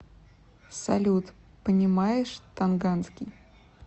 салют понимаешь тонганский